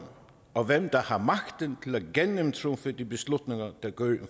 og hvem der har magten til at gennemtrumfe de beslutninger der gør en